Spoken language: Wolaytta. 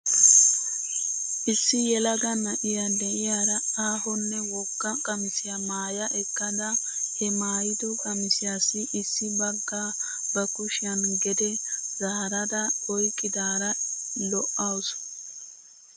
Issi yelaga na'iyaa de'iyaara aahonne wogga qamisiyaa maaya ekkada he maayido qamissiyaassi issi bagaa ba kushiyan gede zaarada oyqqidaara li'awsu.